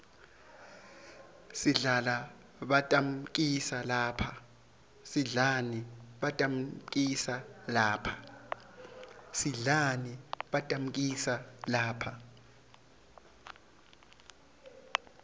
sidlani batammikisa lapha